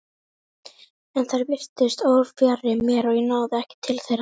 En þær virtust órafjarri mér og ég náði ekki til þeirra.